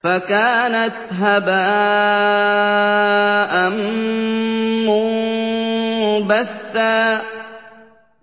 فَكَانَتْ هَبَاءً مُّنبَثًّا